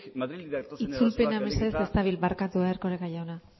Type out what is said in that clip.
madriletik datozen itzulpena ez dabil barkatu erkoreka jauna